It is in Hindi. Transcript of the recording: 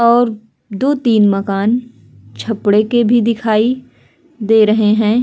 और दो-तीन मकान छपड़े के भी दिखाई दे रहे है।